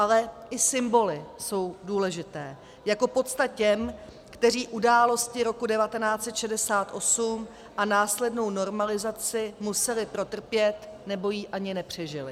Ale i symboly jsou důležité jako pocta těm, kteří události roku 1968 a následnou normalizaci museli protrpět nebo ji ani nepřežili.